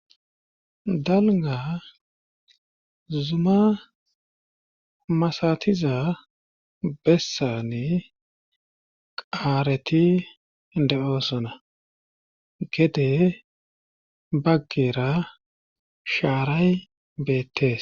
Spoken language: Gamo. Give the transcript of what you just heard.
dalna zuma masatiza bessane qaareti de7oosona gede baggera shaaray beettes